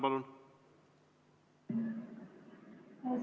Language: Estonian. Palun!